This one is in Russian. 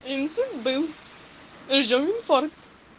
инсульт был ждём инфаркт